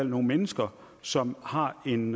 nogle mennesker som har en